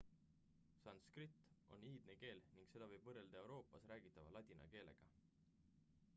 sanskrit on iidne keel ning seda võib võrrelda euroopas räägitava ladina keelega